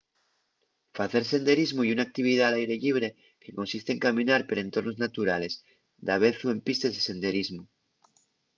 facer senderismu ye una actividá al aire llibre que consiste en caminar per entornos naturales davezu en pistes de senderismu